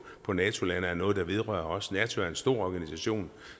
på nato lande er noget der vedrører os nato er en stor organisation